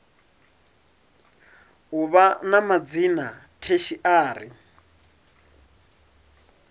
u vha na madzina tertiary